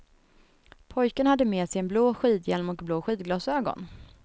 Pojken hade med sig en blå skidhjälm och blå skidglasögon.